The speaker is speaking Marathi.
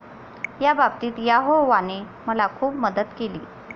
या बाबतीत यहोवाने मला खूप मदत केली.